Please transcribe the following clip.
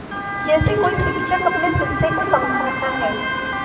जैसे कोई शिक्षक अपने शिष्य को समझाता है